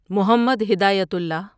Muhammad Hidayatullah